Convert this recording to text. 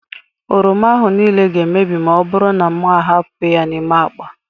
Oroma ahụ niile ga-emebi ma ọ bụrụ na m ahapụ ya n'ime akpa.